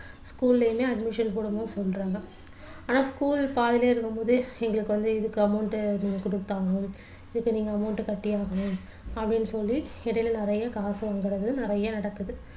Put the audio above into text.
school லயுமே admission போடும்போது சொல்றாங்க ஆனா school பாதியிலே இருக்கும் போது எங்களுக்கு வந்து இதுக்கு amount கொடுத்தாகணும் இதுக்கு நீங்க amount கட்டியே ஆகணும் அப்படின்னு சொல்லி இடையில நிறைய காசு வாங்குறது நிறைய நடக்குது